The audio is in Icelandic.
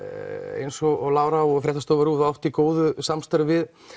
eins og Lára og fréttastofa RÚV átt í góðu samstarfi við